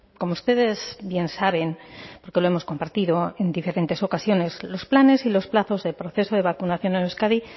como ustedes bien saben porque lo hemos compartido en diferentes ocasiones los planes y los plazos de proceso de vacunación en euskadi